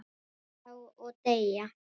Já, og deyja